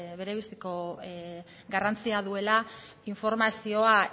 berebiziko garrantzia duela informazioa